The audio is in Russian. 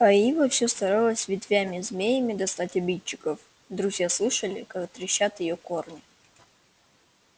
а ива всё старалась ветвями-змеями достать обидчиков друзья слышали как трещат её корни